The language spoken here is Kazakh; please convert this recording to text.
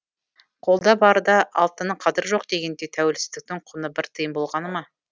қолда барда алтынның қадірі жоқ дегендей тәуелсіздіктің құны бір тиын болғаны ма